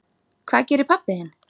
Hvað gerir pabbi þinn?